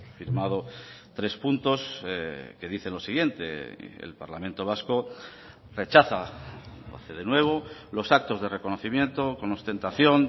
firmado tres puntos que dicen lo siguiente el parlamento vasco rechaza de nuevo los actos de reconocimiento con ostentación